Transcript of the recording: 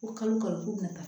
Ko kalo kalo